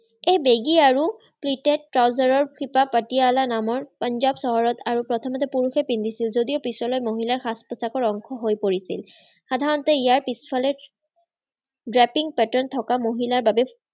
এই বেগী আৰু প্ৰিট্ৰেত-ট্ৰাউজাৰৰ শিপা পাটিয়ালা নামৰ পঞ্জাৱ চহৰত আৰু প্ৰথমতে পুৰুষে পিন্ধিছিল যদিও পিছলৈ মহিলাৰ সাজ-পোছাকৰ অংশহৈ পৰিছিল। সাধাৰণতে ইয়াৰ পিছফালে drapping pattern থকা মহিলাৰ বাবে